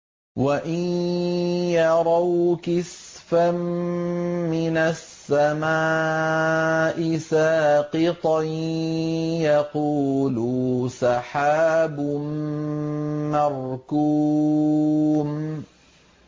وَإِن يَرَوْا كِسْفًا مِّنَ السَّمَاءِ سَاقِطًا يَقُولُوا سَحَابٌ مَّرْكُومٌ